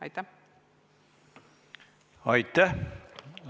Aitäh!